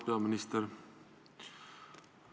Auväärt peaminister!